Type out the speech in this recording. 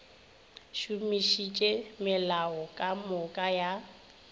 šomišitše melao ka moka ya